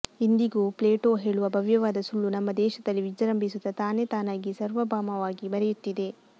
ಇಂದಿಗೂ ಪ್ಲೇಟೋ ಹೇಳುವ ಭವ್ಯವಾದ ಸುಳ್ಳು ನಮ್ಮ ದೇಶದಲ್ಲಿ ವಿಜೃಂಭಿಸುತ್ತಾ ತಾನೇ ತಾನಾಗಿ ಸರ್ವಭೌಮವಾಗಿ ಮೆರೆಯುತ್ತಿದೆ